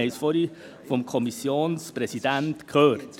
Wir haben es vorhin vom Kommissionspräsidenten gehört.